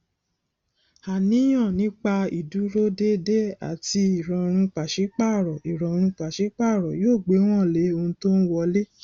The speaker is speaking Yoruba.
àníyàn nípa ìdúródédé àti ìrọrùn pàsípààrọ ìrọrùn pàsípààrọ yóò gbéwòn lé ohun tó ń wọlé